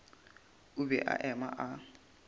o be a eme a